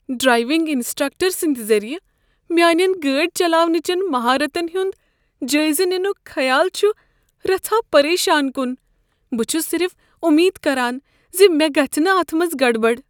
Driving instructor سٕند ذریعہ میانین گٲڑۍ چلاونٕچن مہارتن ہنٛد جٲیزٕ ننک خیال چھ رژھاہ پریشان کن۔ بہٕ چھس صرف امید کران ز مےٚ گژھ نہٕ اتھ منٛز گڑبڑ۔